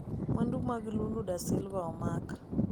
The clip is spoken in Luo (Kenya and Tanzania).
Mwandu mag Lula da Silva omak